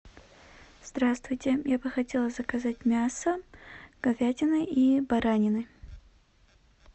здравствуйте я бы хотела заказать мясо говядины и баранины